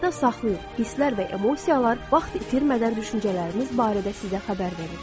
Yadda saxlayın, hisslər və emosiyalar vaxt itirmədən düşüncələrimiz barədə sizə xəbər verir.